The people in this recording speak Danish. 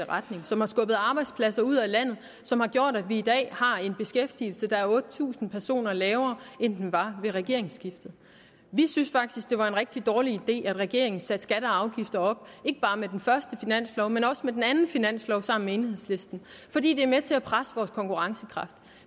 retning som har skubbet arbejdspladser ud af landet som har gjort at vi i dag har en beskæftigelse der er otte tusind personer lavere end den var ved regeringsskiftet vi synes faktisk det var en rigtig dårlig idé at regeringen satte skatter og afgifter op ikke bare med den første finanslov men også med den anden finanslov sammen med enhedslisten fordi det er med til at presse vores konkurrencekraft